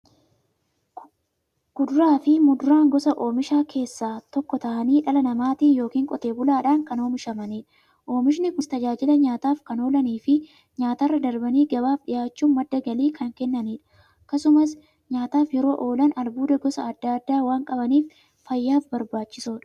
Kuduraafi muduraan gosa oomishaa keessaa tokko ta'anii, dhala namaatin yookiin qotee bulaadhan kan oomishamaniidha. Oomishni Kunis, tajaajila nyaataf kan oolaniifi nyaatarra darbanii gabaaf dhiyaachuun madda galii kan kennaniidha. Akkasumas nyaataf yeroo oolan, albuuda gosa adda addaa waan qabaniif, fayyaaf barbaachisoodha.